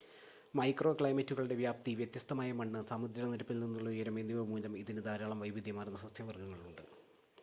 micro ക്ലൈമറ്റുകളുടെ വ്യാപ്തി വ്യത്യസ്തമായ മണ്ണ് സമുദ്രനിരപ്പിൽ നിന്നുള്ള ഉയരം എന്നിവ മൂലം ഇതിന് ധാരാളം വൈവിധ്യമാർന്ന സസ്യ വർഗ്ഗങ്ങളുണ്ട്